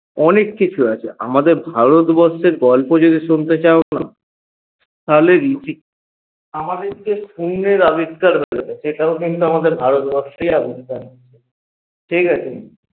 অনেককিছু আছে আমাদের ভারতবর্ষের গল্প যদি শুনতে চাও তাহলে আমাদেরকে ঠিকাছে